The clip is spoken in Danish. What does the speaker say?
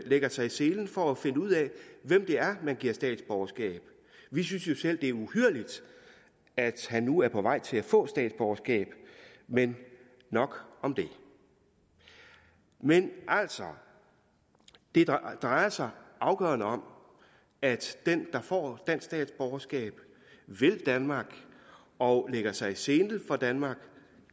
lægger sig i selen for at finde ud af hvem det er man giver statsborgerskab vi synes selv det er uhyrligt at han nu er på vej til at få statsborgerskab men nok om det men altså det drejer sig afgørende om at den der får dansk statsborgerskab vil danmark og lægger sig i selen for danmark